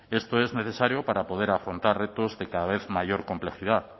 esto es necesario para poder afrontar retos de cada vez mayor complejidad